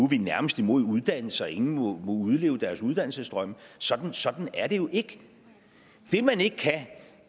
vi nærmest imod uddannelse og at ingen må udleve deres uddannelsesdrømme sådan sådan er det jo ikke det man ikke kan